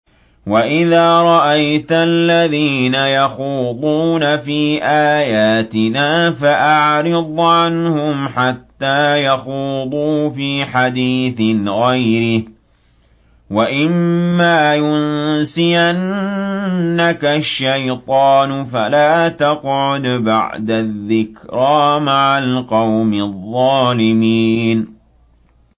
وَإِذَا رَأَيْتَ الَّذِينَ يَخُوضُونَ فِي آيَاتِنَا فَأَعْرِضْ عَنْهُمْ حَتَّىٰ يَخُوضُوا فِي حَدِيثٍ غَيْرِهِ ۚ وَإِمَّا يُنسِيَنَّكَ الشَّيْطَانُ فَلَا تَقْعُدْ بَعْدَ الذِّكْرَىٰ مَعَ الْقَوْمِ الظَّالِمِينَ